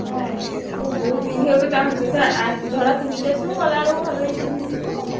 ହଁ ତୁ ଯଦି ପିନ୍ଧିବାକୁ ଚାହୁଁଛୁ ଧଳା ପିନ୍ଧିକି ଆସିବୁ ଗଲାବେଳକୁ ପିନ୍ଧିକି ଯିବୁ ଆଉ।